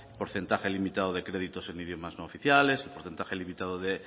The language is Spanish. porcentaje limitado de créditos en idiomas no oficiales porcentaje limitado de